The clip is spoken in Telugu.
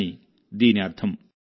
అని దీని అర్థం